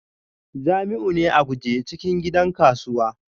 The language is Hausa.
Jamiu ne a guje cikin gidan kasuwa